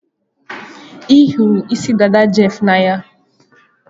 M hụrụ isi dada Jeff n'anya